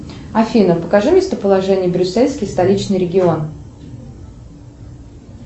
афина покажи местоположение брюссельский столичный регион